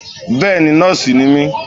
Bẹ́ẹ̀ni nóòsì ni mí